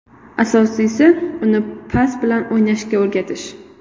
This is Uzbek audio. Asosiysi uni pas bilan o‘ynashga o‘rgatish.